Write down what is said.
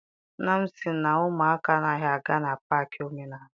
Nna m sị na ụmụaka anaghị aga na paakị omenala.